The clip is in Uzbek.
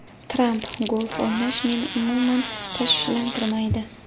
Tramp: Golf o‘ynash meni umuman tashvishlantirmaydi.